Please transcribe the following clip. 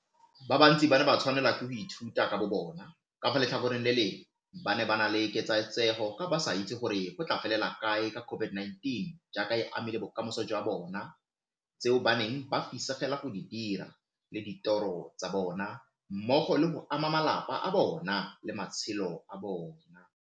Ba bantsi ba ne ba tshwanelwa ke go ithuta ka bobona, ka fa letlhakoreng le lengwe ba ne ba na le ketsaetsego ka ba sa itse gore go tla felela kae ka COVID-19 jaaka e amile bokamoso jwa bona, tseo ba neng ba fisegela go di dira le ditoro tsa bona mmogo le go ama malapa a bona le matshelo a bona,